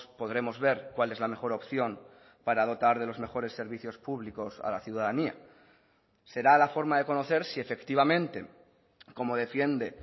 podremos ver cuál es la mejor opción para dotar de los mejores servicios públicos a la ciudadanía será la forma de conocer si efectivamente como defiende